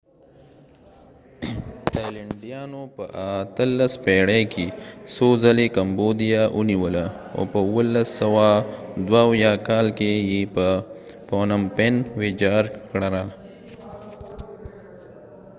تایلنډیانو په 18 پیړی کې څو ځلی کمبوديا ونیوله او په 1772 کال کې یې پنوم پنphnom phen ويجاړ کړ